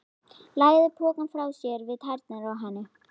Lagði pokann frá sér við tærnar á henni.